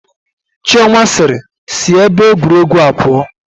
Chioma sịịrị, sị ebe egwuregwu a pụọ